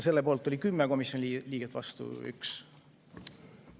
Selle poolt oli 10 komisjoni liiget ja vastu 1.